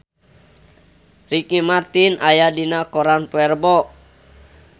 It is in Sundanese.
Ricky Martin aya dina koran poe Rebo